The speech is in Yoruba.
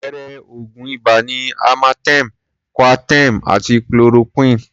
Àpẹẹrẹ oògùn ibà ni amartem, Coaterm àti Chloroquine.